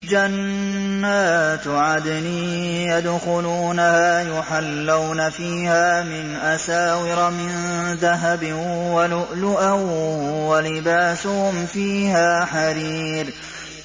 جَنَّاتُ عَدْنٍ يَدْخُلُونَهَا يُحَلَّوْنَ فِيهَا مِنْ أَسَاوِرَ مِن ذَهَبٍ وَلُؤْلُؤًا ۖ وَلِبَاسُهُمْ فِيهَا حَرِيرٌ